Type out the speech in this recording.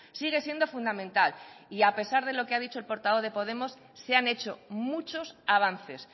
sigue siendo fundamental y a pesar de lo que ha dicho el portavoz de podemos se han hecho muchos avances